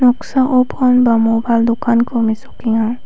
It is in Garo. noksao pon ba mobail dokkanko mesokenga.